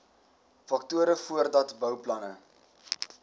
faktore voordat bouplanne